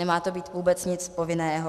Nemá to být vůbec nic povinného.